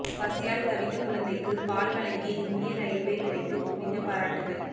பசியால் தவித்த குழந்தைக்கு பால் வழங்கிய இந்திய ரயில்வேத் துறைக்கு குவிந்த பாராட்டுக்கள்